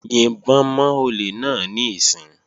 Yìnbọn mọ́ olè náà níìsín!